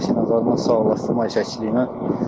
Ailəsi ilə zadla sağollaşsın, ay çəkilsin.